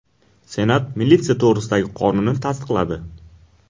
Senat militsiya to‘g‘risidagi qonunni tasdiqladi.